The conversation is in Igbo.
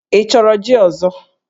Ị chọrọ jí ọzọ?